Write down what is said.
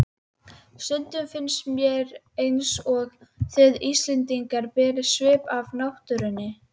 Stundum finnst mér einsog þið Íslendingar berið svip af náttúrunni.